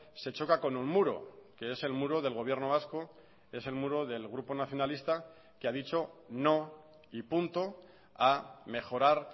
se choca con un muro que es el muro del gobierno vasco es el muro del grupo nacionalista que ha dicho no y punto a mejorar